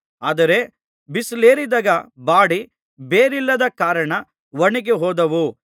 ಆದರೆ ಬಿಸಿಲೇರಿದಾಗ ಬಾಡಿ ಬೇರಿಲ್ಲದ ಕಾರಣ ಒಣಗಿ ಹೋದವು